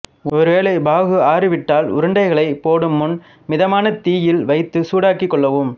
ஒரு வேளை பாகு ஆறி விட்டால் உருண்டைகளை போடும் முன் மிதமான தீயில் வைத்து சூடாக்கிக் கொள்ளவும்